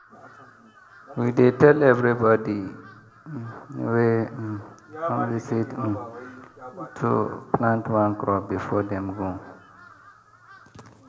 we dey tell everybody um wey um come visit um to plant one crop before dem go.